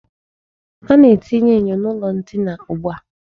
A na-etinye enyo n'ụlọ ndina ugbua.